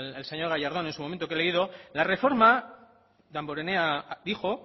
el señor gallardón en su momento que he leído la reforma damborenea dijo